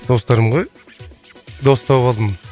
достарым ғой дос тауып алдым